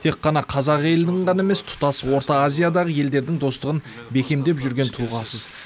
тек қана қазақ елінің ғана емес тұтас орта азиядағы елдердің достығын бекемдеп жүрген тұлғасыз